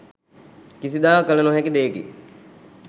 කිසිදා කළ නොහැකි දෙයකි